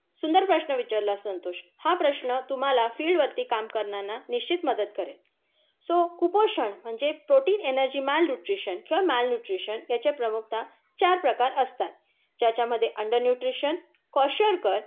सुंदर प्रश्न विचारलास संतोष. हा प्रश्न तुम्हाला फील्डवरती काम करताना निश्चित मदत करेल. सो कुपोषण म्हणजे प्रोटीन, एनर्जि, माल न्यूट्रिशन, याचे प्रमुखताः चार प्रकार असतात. ज्याच्यामध्ये अन्डर न्यूट्रिशन, क्वेशरकर,